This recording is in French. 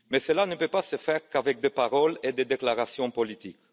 Cela ne peut cependant pas se faire qu'avec des paroles et des déclarations politiques.